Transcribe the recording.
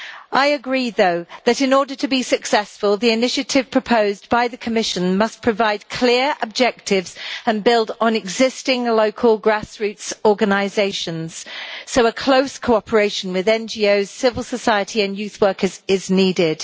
I agree, though, that in order to be successful the initiative proposed by the Commission must provide clear objectives and build on existing local grassroots organisations, so a close cooperation with NGOs, civil society and youth workers is needed.